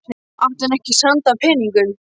Átti hann ekki sand af peningum?